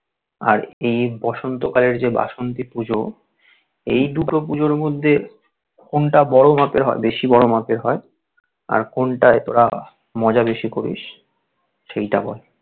আর এই বসন্ত কালের যে বাসন্তী পুজো এই দুটোর পুজোর মধ্যে কোনটা বড়ো মাপের হয়? বেশি বড়ো মাপের হয় আর কোনটাই তোরা মজা বেশিটা করিস সেইটা বল?